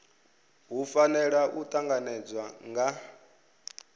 hu fanela u tanganedzwa nga